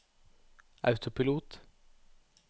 autopilot